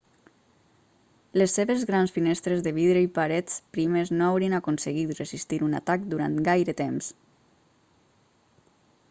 les seves grans finestres de vidre i parets primes no haurien aconseguit resistir un atac durant gaire temps